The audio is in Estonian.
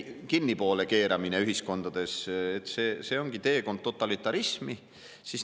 – kruvide kinnikeeramine ühiskondades ongi teekond totalitarismi, on üle maailma tembeldatud ka vandenõuteoreetikuteks.